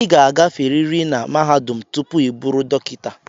ị ga-agaferiri na mahadum tupu ị bụrụ dọkịta